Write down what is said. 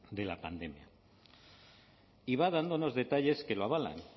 de la pandemia y va dándonos detalles que lo avalan